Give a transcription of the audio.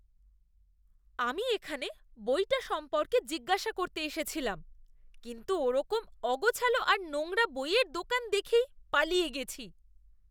আমি এখানে বইটা সম্পর্কে জিজ্ঞাসা করতে এসেছিলাম কিন্তু ওরকম অগোছালো আর নোংরা বইয়ের দোকান দেখেই পালিয়ে গেছি।